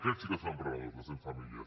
aquests sí que són emprenedors les cent famílies